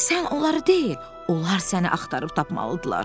Sən onları deyil, onlar səni axtarıb tapmalıdırlar.